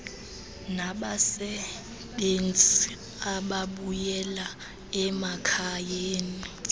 nabasebenzi ababuyela emakhayeni